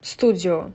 студио